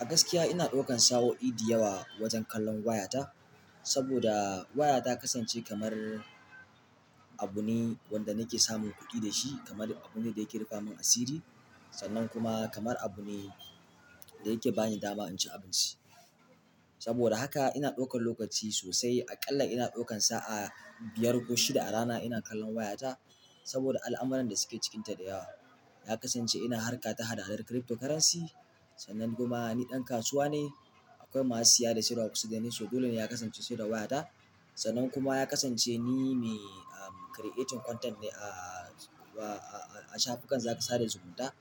A gaskiya ina ɗaukan sa'o'i dayawa wajen kallon wayata, saboda waya takasance kamar abu ne wanda nake samun kuɗi da shi, kamar abu ne da yake rufe min asiri, sannan kuma kamar abu ne da yake bani dama in ci abinci. Saboda haka ina ɗaukan lokaci sosai. Aƙalla ina ɗaukan sa'a biyar ko shida a rana ina kallon wayata, saboda al'amuran da suke cikinta dayawa. Nakasance ina harka ta haɗa haɗa crypto currency sannan kuma ni ɗan kasuwa ne. Akwai masu siya da siyarwa a kusa dani, so dole ne ya kasance sai da wayata. Sannan kuma ya kasance ni me, am, creating content ne a, a, a shafukan sada zumunta.